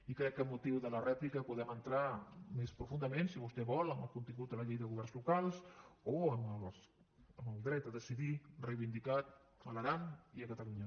i crec que amb motiu de la rèplica podem entrar més profundament si vostè vol en el contingut de la llei de governs locals o en el dret a decidir reivindicat a l’aran i a catalunya